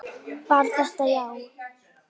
Var þetta já?